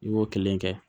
I b'o kelen kɛ